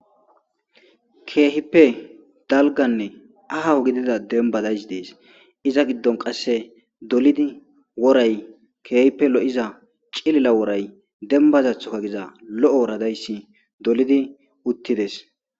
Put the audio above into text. keehippe dalganne ahawu gidida denbadays dees iza giddon qasse dolidi woray keehippe lo7iza cilila woray dembazathoka giza lo7o woradayssi dolidi uttides